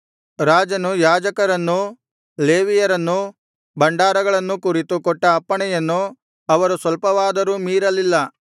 ರಾಜನು ಯಾಜಕರನ್ನೂ ಲೇವಿಯರನ್ನೂ ಭಂಡಾರಗಳನ್ನೂ ಕುರಿತು ಕೊಟ್ಟ ಅಪ್ಪಣೆಯನ್ನು ಅವರು ಸ್ವಲ್ಪವಾದರೂ ಮೀರಲಿಲ್ಲ